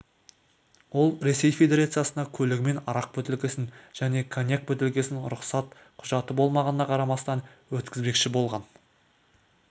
ол ресей федерациясына көлігімен арақ бөтелкесін және коньяк бөтелкесін рұқсат құжаты болмағанына қарамастан өткізбекші болған